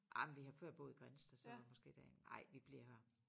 Ej men vi har før boet i Grindsted så måske derinde ej vi bliver her